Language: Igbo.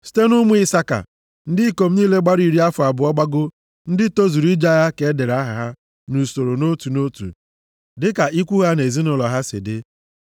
Site nʼụmụ Isaka, ndị ikom niile gbara iri afọ abụọ gbagoo, ndị tozuru ije agha ka e dere aha ha nʼusoro nʼotu nʼotu dịka ikwu ha na ezinaụlọ ha si dị.